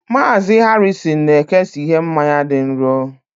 Mazị Harrison na-ekesa ihe mmanya dị nro